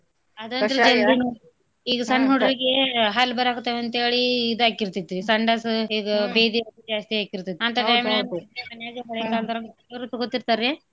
ಈಗ ಸಣ್ಣ್ ಹುಡ್ರೀಗೆ ಹಲ್ ಬರಕತ್ತವ್ ಅಂತ್ ಹೇಳಿ ಇದು ಆಕ್ಕಿರತೆತಿ ಸಂಡಾಸು ಈಗ ಬೇದಿ ಜಾಸ್ತಿ ಆಕ್ಕಿರತೆತಿ ಮನ್ಯಾಗ ಹಳೆ ಕಾಲ್ದೋರಂಗ್ ತೊಗೋತಿರ್ತಾರ್ರೀ.